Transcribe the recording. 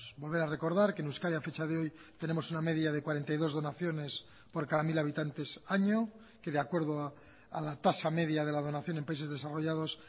volver a recordar que en euskadi a fecha de hoy tenemos una media de cuarenta y dos donaciones por cada mil habitantes año que de acuerdo a la tasa media de la donación en países desarrollados